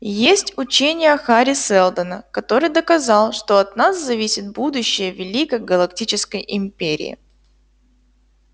есть учение хари сэлдона который доказал что от нас зависит будущее великой галактической империи